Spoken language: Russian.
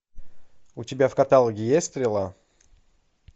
у тебя в каталоге есть стрела